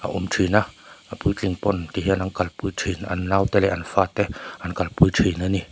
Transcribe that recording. awm thin a a puitling pawn tihian an kalpui thin an naute leh an fate an kalpui thin a ni.